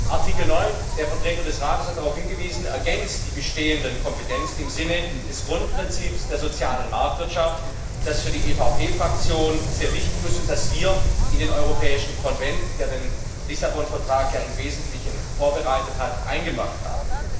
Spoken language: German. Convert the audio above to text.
Artikel 9 der Vertreter des Rates hat darauf hingewiesen ergänzt die bestehenden Kompetenzen im Sinne des Grundprinzips der sozialen Marktwirtschaft, das für die EVP Fraktion sehr wichtig ist und das wir in den Europäischen Konvent, der den Lissabon Vertrag ja im Wesentlichen vorbereitet hat, eingebracht haben.